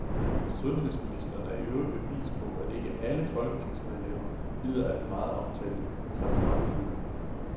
Sundhedsministeren er i øvrigt bevis på, at ikke alle folketingsmedlemmer lider af den meget omtalte taburetkløe.